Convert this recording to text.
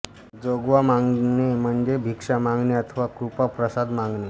जोगवा मागणे म्हणजे भिक्षा मागणे अथवा कृपाप्रसाद मागणे